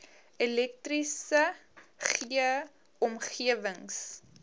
elektriese g omgewings